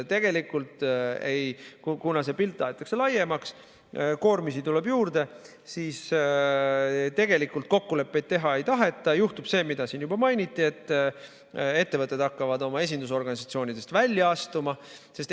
Kuna see pilt aetakse laiemaks, koormisi tuleb juurde, siis tegelikult kokkuleppeid teha ei taheta ja juhtub see, mida siin juba mainiti, et ettevõtted hakkavad esindusorganisatsioonidest välja astuma.